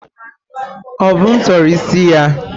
Obum tọrọ isi ya.